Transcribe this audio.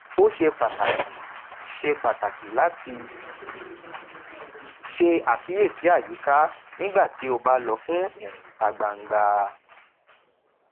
ó ṣe pàtàkì ṣe pàtàkì láti ṣe àkíyèsí àyíká nígbà tí ó bá lọ fún ìrìn ìta gbangba